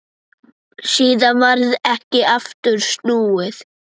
Síðan varð ekki aftur snúið.